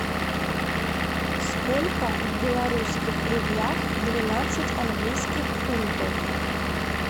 сколько в белорусских рублях двенадцать английских фунтов